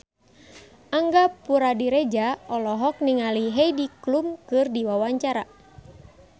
Angga Puradiredja olohok ningali Heidi Klum keur diwawancara